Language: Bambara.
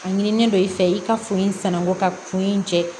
A ɲinilen don i fɛ i ka foli in sananko ka kun in jɛ